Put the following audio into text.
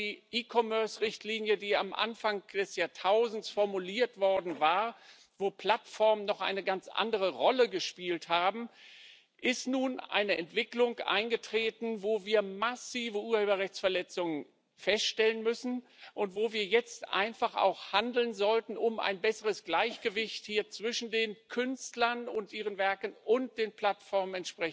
Aber nach der E Commerce Richtlinie, die am Anfang des Jahrtausends formuliert wurde, als Plattformen noch eine ganz andere Rolle gespielt haben, ist nun eine Entwicklung eingetreten, wo wir massive Urheberrechtsverletzungen feststellen müssen und wo wir jetzt einfach auch handeln sollten, um ein besseres Gleichgewicht zwischen den Künstlern und ihren Werken und den Plattformen